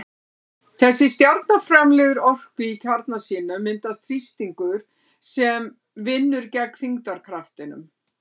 Þegar stjarna framleiðir orku í kjarna sínum myndast þrýstingur sem vinnur gegn þyngdarkraftinum.